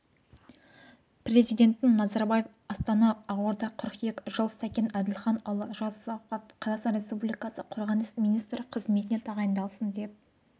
президентін назарбаев астана ақорда қыркүйек жыл сәкен әділханұлы жасұзақов қазақстан республикасы қорғаныс министрі қызметіне тағайындалсын деп